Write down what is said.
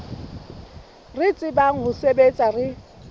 re tsebang ho sebetsa re